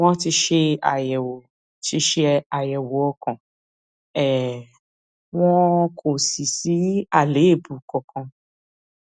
wọn ti ṣe àyẹwò ti ṣe àyẹwò ọkàn um wọn kò sì sí àléébù kankan